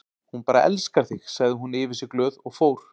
Hún bara elskar þig sagði hún yfir sig glöð og fór.